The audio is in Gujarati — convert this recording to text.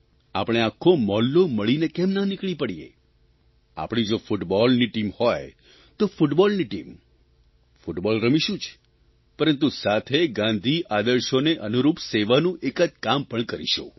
આપણે આખો મહોલ્લો મળીને કેમ ના નીકળી પડીએ આપણી જો ફૂટબોલની ટીમ હોય તો ફૂટબોલની ટીમ ફૂટબોલ રમીશું જ પરંતુ સાથે ગાંધી આદર્શોને અનુરૂપ સેવાનું એકાદ કામ પણ કરીશું